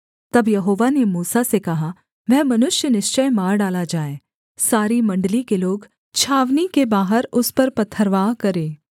तब यहोवा ने मूसा से कहा वह मनुष्य निश्चय मार डाला जाए सारी मण्डली के लोग छावनी के बाहर उस पर पथरवाह करें